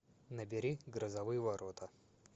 набери грозовые ворота